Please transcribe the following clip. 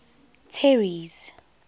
terry's